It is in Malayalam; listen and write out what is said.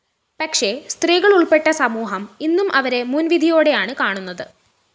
പക്ഷേ സ്ത്രീകളുള്‍പ്പെട്ട സമൂഹം ഇന്നും അവരെ മുന്‍വിധിയോടെയാണ്‌ കാണുന്നത്‌